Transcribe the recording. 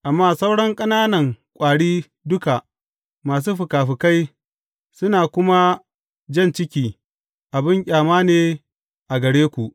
Amma sauran ƙananan ƙwari duka masu fikafikai, suna kuma jan ciki, abin ƙyama ne a gare ku.